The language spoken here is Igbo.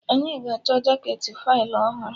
Anyị ga-achọ jaketị Faịlụ ọhụrụ